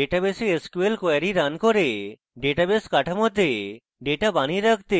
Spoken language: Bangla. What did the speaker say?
ডেটাবেসে sql কোয়েরি running করে ডেটাবেস কাঠামোতে ডেটা বানিয়ে রাখতে